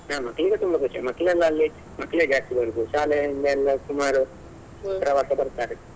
ಹಾ ಮಕ್ಳಿಗೆ ತುಂಬಾ ಖುಷಿ ಮಕ್ಕಳೆಲ್ಲಾ ಅಲ್ಲಿ ಮಕ್ಕಳಿಗೆ actually ಇರುದು ಶಾಲೆಯಿಂದ ಎಲ್ಲ ಸುಮಾರು ಪ್ರವಾಸ ಬರ್ತಾರೆ.